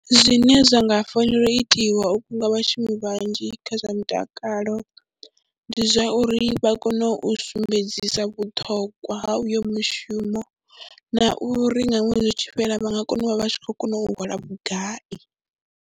Zwine zwa nga fanela u itiwa vhunga vhashumi vhanzhi kha zwa mutakalo, ndi zwa uri vha kone u sumbedzisa vhuṱhongwa ha uyo mushumo na uri nga ṅwedzi u tshi fhela vha nga kona u vha vha tshi khou kona u hola vhugai.